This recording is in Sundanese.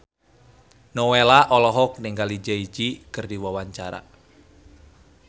Nowela olohok ningali Jay Z keur diwawancara